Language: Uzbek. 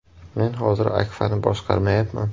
Men hozir Akfa’ni boshqarmayapman.